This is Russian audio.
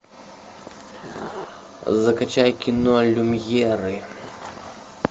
закачай кино люмьеры